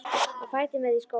Á fætur með þig í skólann!